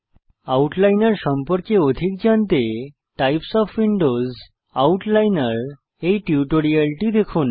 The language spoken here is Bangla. আউটলাইনার সম্পর্কে অধিক জানতে টাইপ ওএফ উইন্ডোজ আউটলাইনের এই টিউটোরিয়ালটি দেখুন